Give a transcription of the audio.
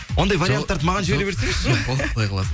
ондай варианттарды маған жібере берсеңізші